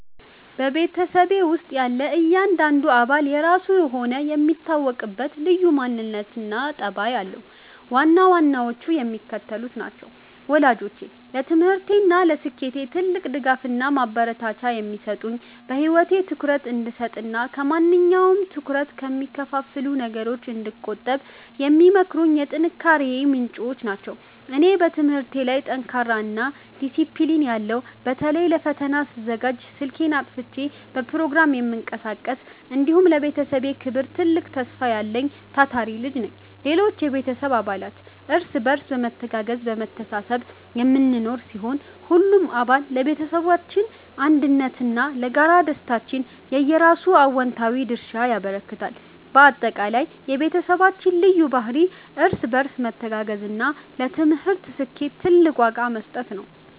በቤተሰቤ ውስጥ ያለ እያንዳንዱ አባል የራሱ የሆነ የሚታወቅበት ልዩ ማንነትና ጠባይ አለው፤ ዋና ዋናዎቹም የሚከተሉት ናቸው፦ ወላጆቼ፦ ለትምህርቴና ለስኬቴ ትልቅ ድጋፍና ማበረታቻ የሚሰጡኝ፣ በህይወቴ ትኩረት እንድሰጥና ከማንኛውም ትኩረት ከሚከፋፍሉ ነገሮች እንድቆጠብ የሚመክሩኝ የጥንካሬዬ ምንጮች ናቸው። እኔ፦ በትምህርቴ ላይ ጠንካራና ዲሲፕሊን ያለው (በተለይ ለፈተና ስዘጋጅ ስልኬን አጥፍቼ በፕሮግራም የምቀሳቀስ)፣ እንዲሁም ለቤተሰቤ ክብርና ትልቅ ተስፋ ያለኝ ታታሪ ልጅ ነኝ። ሌሎች የቤተሰብ አባላት፦ እርስ በርስ በመተጋገዝና በመተሳሰብ የምንኖር ሲሆን፣ ሁሉም አባል ለቤተሰባችን አንድነትና ለጋራ ደስታችን የየራሱን አዎንታዊ ድርሻ ያበረክታል። ባጠቃላይ፣ የቤተሰባችን ልዩ ባህሪ እርስ በርስ መተጋገዝና ለትምህርት ስኬት ትልቅ ዋጋ መስጠት ነው።